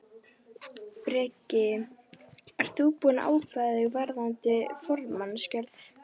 Breki: Ert þú búinn að ákveða þig varðandi formannskjörið?